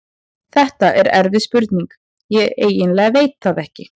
Þetta er erfið spurning, ég eiginlega veit það ekki.